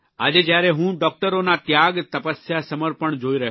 આજે જયારે હું ડૉકટરોના ત્યાગ તપસ્યા સમર્પણ જોઇ રહ્યો છું